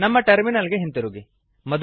ನಮ್ಮ ಟರ್ಮಿನಲ್ ಗೆ ಹಿಂದಿರುಗಿ